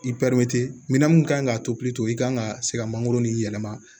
minɛn mun kan ka to i kan ka se ka mangoro ni yɛlɛma